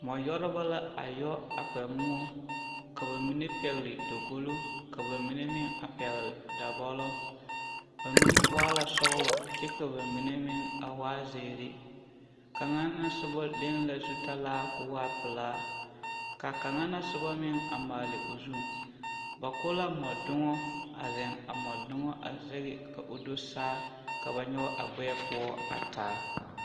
Mɔ yɔrebɔ la a yɔ a kpɛ moɔ ka ba mine pɛgli dagolo ka ba mine meŋ a pɛgli dabɔlɔ ba mine waa la sɔglɔ kyɛ ka ba mine meŋ a waa zeere kaŋa na sobɔ leŋ la zutalaa koo waa pelaa ka kaŋa na sobɔ meŋ a maali o zu ba ko la mɔdogɔ a zeŋe a mɔdogɔ a zɛge ka o do saa ka ba nyɔg a gbɛɛ poɔ a taa.